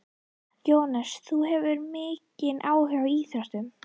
Jóhannes: Þú hefur mikinn áhuga á íþróttum?